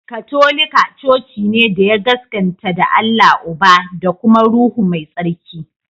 Katolika coci ne da ya gaskanta da Allah Uba, da da kuma Ruhu Mai Tsarki.